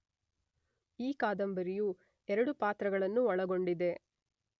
ಈ ಕಾದಂಬರಿಯು ಎರಡು ಪಾತ್ರಗಳನ್ನು ಒಳಗೊಂಡಿದೆ.